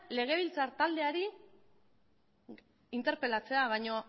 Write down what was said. legebiltzar taldeari interpelatzea baino